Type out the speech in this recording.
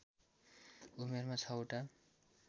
उमेरमा ६ वटा